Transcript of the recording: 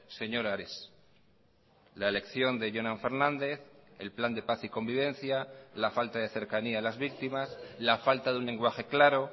señor ares la elección de jonan fernández el plan de paz y convivencia la falta de cercanía a las víctimas la falta de un lenguaje claro